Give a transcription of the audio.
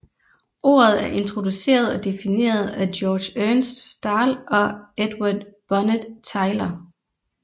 Ordet er introduceret og defineret af Georg Ernst Stahl og Edward Burnett Tylor